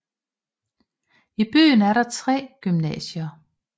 I byen er der tre gymnasier